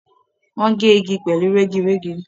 Wọn gé igi pẹ̀lú rẹ́girẹ́gi.